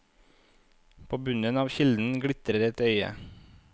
På bunnen av kilden glitrer et øye.